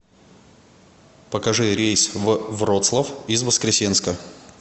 покажи рейс в вроцлав из воскресенска